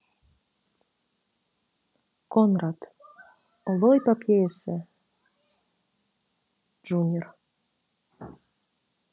конрад ұлы эпопеясы джуниор